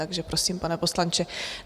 Takže prosím, pane poslanče.